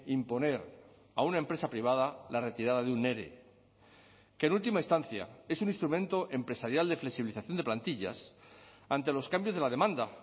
imponer a una empresa privada la retirada de un ere que en última instancia es un instrumento empresarial de flexibilización de plantillas ante los cambios de la demanda